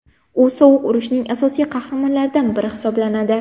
U sovuq urushning asosiy qarhamonlaridan biri hisoblanadi.